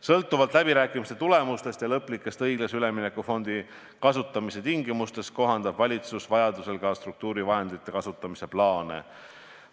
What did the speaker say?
Sõltuvalt läbirääkimiste tulemustest ja lõplikest õiglase ülemineku fondi kasutamise tingimustest kohandab valitsus vajaduse korral ka struktuurivahendite kasutamise plaane.